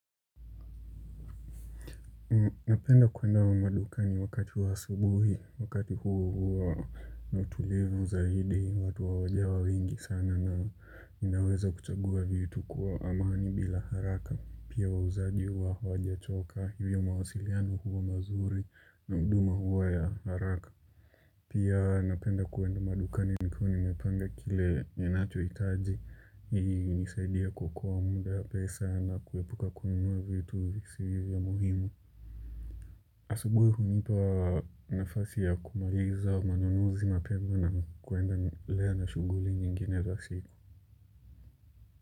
Napenda kwenda kwa madukani wakati wa sabuhi, wakati huo huwa na utulivu zaidi, watu hawajawa wengi sana na ninaweza kuchaguwa vitu kwa amani bila haraka. Pia wauzaji hawajachoka, hivyo mawasiliano huwa mazuri na huduma huwa ya haraka. Pia napenda kwenda madukani nikuwa nimepanga kile ninacho hitaji, ili inisaidie kuokoa muda, pesa na kuepuka kununua vitu visizo muhimu. Asubuhi hunipa nafasi ya kumaliza ununuzi mapema na kuendelea na shuguli nyingine za siku.